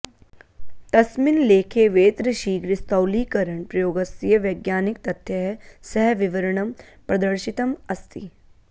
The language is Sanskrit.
तस्मिन् लेखे वेत्रशीघ्रस्थौल्यीकरणप्रयोगस्य वैज्ञानिकतथ्यैः सह विवरणं प्रदर्शितम् अस्ति